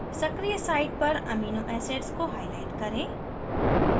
सक्रिय site पर amino acids को highlight करें